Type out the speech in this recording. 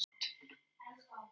Ég er mát.